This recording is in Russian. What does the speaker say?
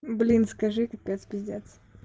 блин скажи капец пиздец